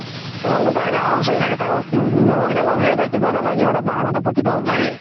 ৰোন্তু তাৰ গাওৰ হুচুৰি থাকে তাৰ লগৰ কেইতা লগ ধৰিলে কিবা নহয় কিবা এটাতো বাহানাতো প্ৰতিক বাৰ উলাইয়ে